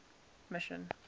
mission